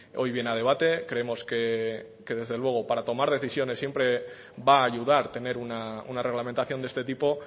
hoy viene a debate creemos que desde luego para tomar decisiones siempre va a ayudar tener una reglamentación de este tipo